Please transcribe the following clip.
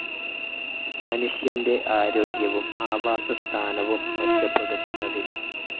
മനുഷ്യന്റെ ആരോഗ്യവും ആവാസസ്ഥാനവും മെച്ചപ്പെടുത്തുന്നതിൽ.